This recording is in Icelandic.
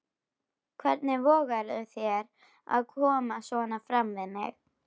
Hvernig vogarðu þér að koma svona fram við mig!